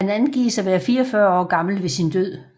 Han angives at være 44 år gammel ved sin død